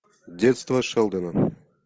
детство шелдона